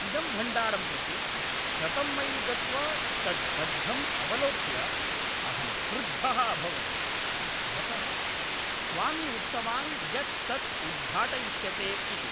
इदं भण्डारं प्रति शतं मैल् गत्वा तद्बद्धम् अवलोक्य अहं क्रुद्धः अभवं, यतः स्वामी उक्तवान् यत् तत् उद्घाटयिष्यते इति।